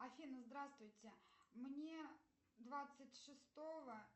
афина здравствуйте мне двадцать шестого